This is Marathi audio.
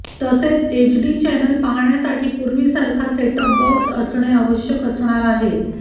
तसेच एचडी चॅनल पाहण्यासाठी पूर्वीसारखा सेट टॉप बॉक्स असणे आवश्यक असणार आहे